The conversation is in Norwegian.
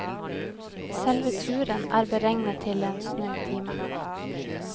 Selve turen er beregnet til en snau time.